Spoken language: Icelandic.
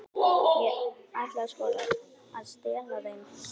Ég ætlaði sko að stela þeim.